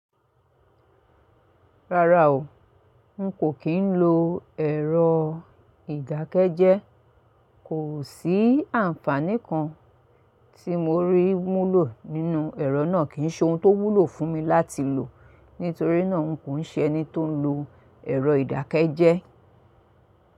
Rárá o, n kò kí ń lo ẹ̀rọ ìdákẹ́jẹ́. Kò sí àǹfàní kan tí mo rí múlò nínú ẹ̀rọ náà kì ń ṣe ohun tó wúlò fún mi láti lò. Nítorí náà n kò ṣe ẹni tó ń lo ẹ̀rọ ìdákẹ́jẹ́.